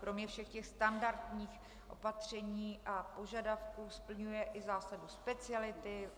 Kromě všech těch standardních opatření a požadavků splňuje i zásadu speciality.